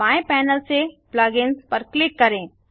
बाएँ पैनल से plug इन्स पर क्लिक करें